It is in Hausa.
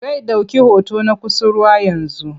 Zai ɗauki hoton na kusurwa yanzu.